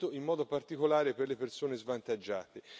in modo particolare per le persone svantaggiate.